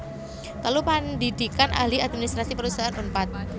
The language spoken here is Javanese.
telu Pandhidhikan Ahli Administrasi Perusahaan Unpad